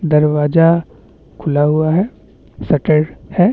दरवाजा खुला हुआ है शटर है।